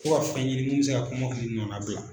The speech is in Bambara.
Fɔ. ka fɛn ɲini mun bɛ se ka kɔmɔkili nɔnabila.